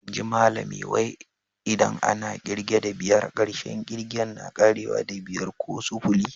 Inji Malami wai, idan ana kirge da biyar, karshen ƙigen na ƙarewa da"biyar" ko "sufuli."